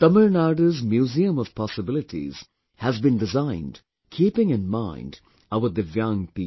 Tamil Nadu's Museum of Possibilities has been designed keeping in mind our Divyang people